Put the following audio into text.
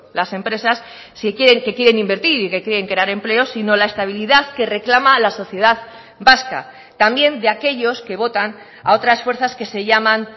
las empresas si quieren que quieren invertir y que quieren crear empleos sino la estabilidad que reclama la sociedad vasca también de aquellos que votan a otras fuerzas que se llaman